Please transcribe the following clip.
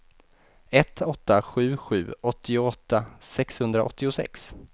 ett åtta sju sju åttioåtta sexhundraåttiosex